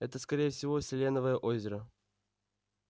это скорее всего селеновое озеро